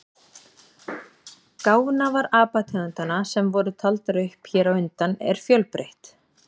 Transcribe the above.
Gáfnafar apategundanna sem voru taldar upp hér á undan er fjölbreytt.